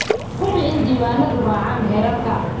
Hubi in diiwaanadu raacaan xeerarka.